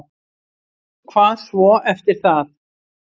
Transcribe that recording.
Hvað svo eftir það?